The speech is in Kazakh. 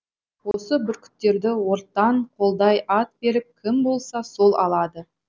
осы бүркіттерді ортан қолдай ат беріп кім болса сол алады